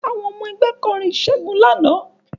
Àwọn ọmọ ẹgbẹ́ kọrin ìṣègun lánàá